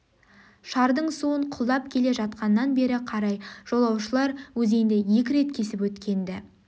шардың суын құлдап келе жатқаннан бері қарай жолаушылар өзенді екі рет кесіп өткен еді